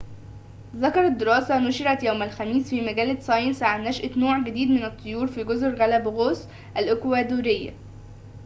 ذكرت دراسة نُشرت يوم الخميس في مجلة ساينس عن نشأة نوع جديد من الطيور في جزر غالاباغوس الإكوادورية